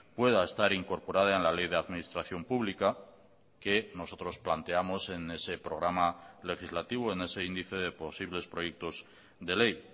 pueda estar incorporada en la ley de administración pública que nosotros planteamos en ese programa legislativo en ese índice de posibles proyectos de ley